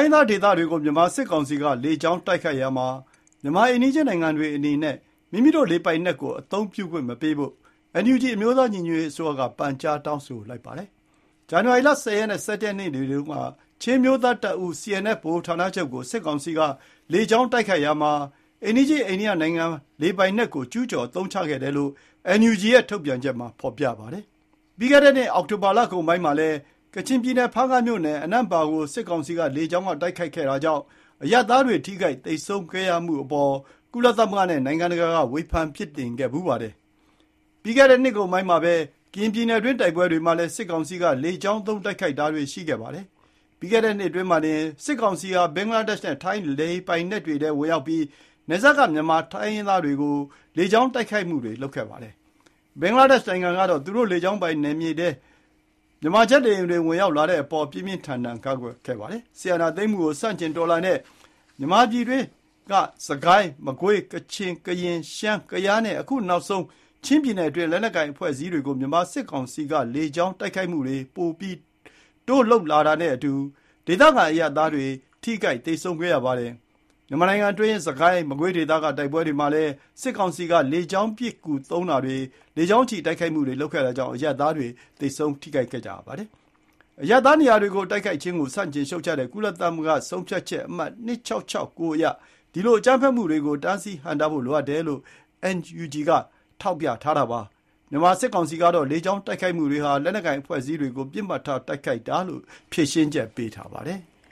င်းသားဒေသတွေကို မြန်မာစစ်ကောင်စီက လေကြောင်းတိုက်ခိုက်ရာမှာ မြန်မာအိမ်နီးချင်းနိုင်ငံတွေအနေနဲ့ မိမိတို့လေပိုင်နက်ကိုအသုံးပြုခွင့်မပေးဖို့ NUG အမျိုးသားညီညွတ်ရေးအစိုးရက ပန်ကြားတောင်းဆိုလိုက်ပါတယ်။ ဇန်နဝါရီ ၁၀ ရက်နဲ့ ၁၁ ရက်နေ့တွေတုန်းက ချင်းအမျိုးသားတပ်ဦး CNF ဗဟိုဌာနချုပ်ကို စစ်ကောင်စီက လေကြောင်းတိုက်ခိုက်ရာမှာ အိမ်နီးချင်းအိန္ဒိယနိုင်ငံလေပိုင်နက်ကို ကျူးကျော်အသုံးချခဲ့တယ်လို့ NUG ရဲ့ ထုတ်ပြန်ချက်မှာဖော်ပြပါတယ်။ ပြီးခဲ့တဲ့နှစ် အောက်တိုဘာလကုန်ပိုင်းမှာလည်း ကချင်ပြည်နယ် ဖားကန့်မြို့နယ် အနန်ပါ့ ကို စစ်ကောင်စီက လေကြောင်းတိုက်ခိုက်မှုကြောင့် အရပ်သားတွေထိခိုက်သေဆုံးခဲ့ရတဲ့အပေါ် ကုလသမဂ္ဂနဲ့ နိုင်ငံတကာက ဝေဖန်ပြစ်တင်ခဲ့ဖူးပါတယ်။ ပြီးခဲ့တဲ့နှစ်ကုန်ပိုင်းမှာပဲ ကရင်ပြည်နယ်တွင်း တိုက်ပွဲတွေမှာလည်း စစ်ကောင်စီက လေကြောင်းသုံးတိုက်ခိုက်တာတွေရှိခဲ့ပါတယ်။ ပြီးခဲ့တဲ့နှစ်အတွင်းမှာတင် စစ်ကောင်စီဟာ ဘင်္ဂလားဒေ့ရ်ှနဲ့ ထိုင်းလေပိုင်နက်တွေထဲ ဝင်ရောက်ပြီး၊ နယ်စပ်က မြန်မာတိုင်းရင်းသားဒေသတွေကို လေကြောင်းတိုက်ခိုက်မှုတွေလုပ်ခဲ့ဖူးပါတယ်။ ဘင်္ဂလားဒေ့ရ်ှနိုင်ငံကတော့ သူတို့လေကြောင်းပိုင်နက်ထဲ မြန်မာဂျက်လေယာဉ်တွေဝင်ရောက်လာတဲ့အပေါ် ပြင်းပြင်းထန်ထန်ကန့်ကွက်ခဲ့ပါတယ်။ စစ်အာဏာသိမ်းမှုကိုဆန့်ကျင်တော်လှန်တဲ့ မြန်မာပြည်တွင်း စစ်ကိုင်း၊ မကွေး၊ ကချင်၊ ကရင်၊ ရှမ်း၊ ကယားနဲ့ အခုနောက်ဆုံး ချင်းပြည်နယ်တွင်း လက်နက်ကိုင်အဖွဲ့အစည်းတွေကို မြန်မာစစ်ကောင်စီက လေကြောင်းတိုက်ခိုက်မှုတွေ ပိုတိုးလုပ်လာတာနဲ့အတူ၊ ဒေသခံအရပ်သားတွေ ထိခိုက်သေဆုံးမှုရှိခဲ့ပါတယ်။ မြန်မာနိုင်ငံတွင်း စစ်ကိုင်း မကွေးဒေသက တိုက်ပွဲတွေမှာလည်း စစ်ကောင်စီက လေကြောင်းပစ်ကူသုံးတာတွေ လေကြောင်းချီတိုက်ခိုက်မှုတွေလုပ်တာကြောင့် အရပ်သားထိခိုက်မှုတွေရှိနေပါတယ်။ အရပ်သားနေရာတွေကို တိုက်ခိုက်ခြင်းကို ဆန့်ကျင်ရှုတ်ချတဲ့ ကုလသမဂ္ဂဆုံးဖြတ်ချက်အမှတ် ၂၆၆၉ အရ ဒီလိုအကြမ်းဖက်မှုတွေကို တားဆီးဟန့်တားဖို့လိုအပ်တယ်လို့ NUG က ထောက်ပြထားပါတယ်။ မြန်မာစစ်ကောင်စီကတော့ လေကြောင်းတိုက်ခိုက်မှုတွေဟာ လက်နက်ကိုင်အဖွဲ့အစည်းတွေကို ပစ်မှတ်ထားတိုက်ခိုက်တာလို့ ဖြေရှင်းချက်ပေးထားပါတယ်။